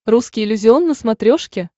русский иллюзион на смотрешке